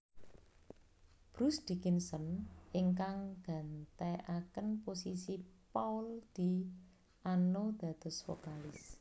Bruce Dickinson ingkang gantekaken posisi Paul Di Anno dados vokalis